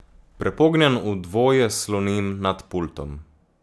Prepognjen v dvoje sloni nad pultom.